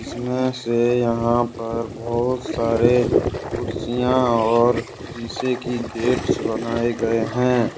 इसमें से यहां पर बहुत सारे कुर्सियां और शीशे की गेट्स बनाए गए हैं।